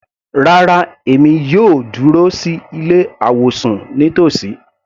Rárá, èmi yóò dúró sí ilé àwọ̀sùn nítòsí.